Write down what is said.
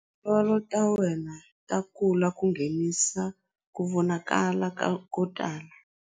Tindzololo ta wena ta kula ku nghenisa ku vonakala ko tala.